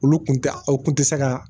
Olu kun tɛ u kun tɛ se ka